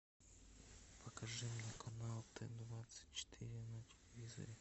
покажи мне канал т двадцать четыре на телевизоре